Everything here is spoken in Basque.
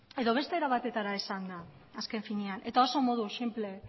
edo beste era batera esanda azken finean eta oso modu sinple